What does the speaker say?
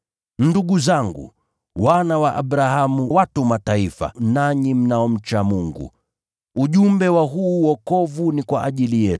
“Ndugu zangu, wana wa Abrahamu, nanyi watu wa Mataifa mnaomcha Mungu, ujumbe huu wa wokovu umeletwa kwetu.